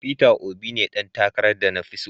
Peter Obi ne dan takaran de na fi tso.